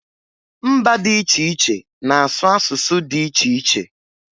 Mba dị iche iche na asụ asụsụ dị iche iche